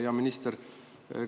Hea minister!